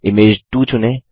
image 2 चुनें